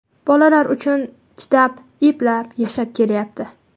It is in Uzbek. Bolalari uchun chidab, eplab, yashab kelyapti.